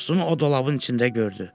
Dostunu o dolabın içində gördü.